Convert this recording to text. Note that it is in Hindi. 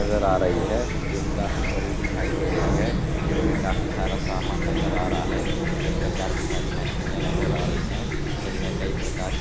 नजर आ रही है जिम काफी बड़ी दिखाई दे रही है जिम मे काफी सारा सामान नजर आ रहा है जिम मे काफी सारी मशीने नजर आ रही है जिम मे कई प्रकार --